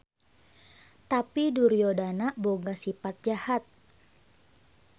Tapi Duryodana boga sipat jahat.